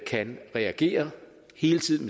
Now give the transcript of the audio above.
kan reagere hele tiden